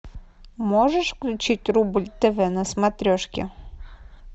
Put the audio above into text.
можешь включить рубль тв на смотрешке